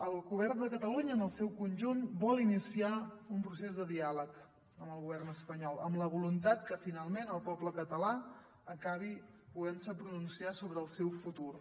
el govern de catalunya en el seu conjunt vol iniciar un procés de diàleg amb el govern espanyol amb la voluntat que finalment el poble català acabi podent se pronunciar sobre el seu futur